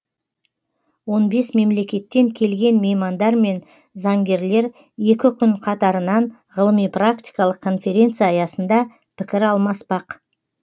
он бес мемлекеттен келген меймандар мен заңгерлер екі күн қатарынан ғылыми практикалық конференция аясында пікір алмаспақ